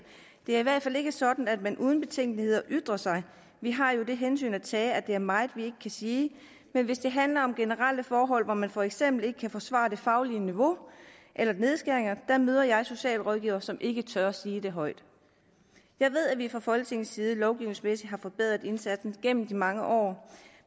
det er i hvert fald ikke sådan at man uden betænkeligheder ytrer sig vi har jo det hensyn at tage at der er meget vi kan sige men hvis det handler om generelle forhold hvor man for eksempel ikke kan forsvare det faglige niveau eller nedskæringer der møder jeg socialrådgivere som ikke tør sige det højt jeg ved at vi fra folketingets side lovgivningsmæssigt har forbedret indsatsen gennem mange år